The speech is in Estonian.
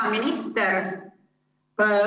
Hea minister!